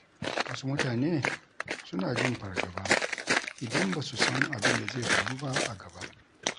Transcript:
Wasu mutane suna jin fargaba idan ba su san abin da zai faru ba a gaba.